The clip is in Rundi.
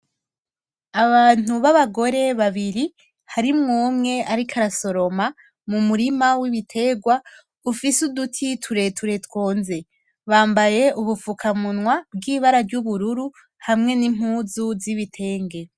Abantu b'abagore babiri harimwo umwe ariko arasoroma mu murima w'ibiterwa ufise uduti tureture twonze. Bambaye ubufukamunwa bw'ibara ry'ubururu hamwe n'impuzu z'ibitenge.